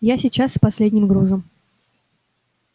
я сейчас с последним грузом